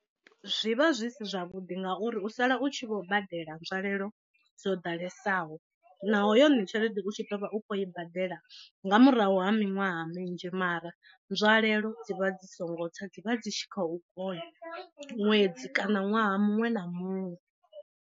Zwi vha zwi si zwavhuḓi ngauri u sala u tshi vho badela nzwalelo dzo ḓalesaho naho yone tshelede u tshi ḓovha u tshi khou i badela nga murahu ha miṅwaha minzhi mara nzwalelo dzivha dzi songo tsa dzivha dzi tshi khou vhona ṅwedzi kana ṅwaha muṅwe na muṅwe.